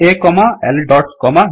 ಆ plus C A dots plus ಬ್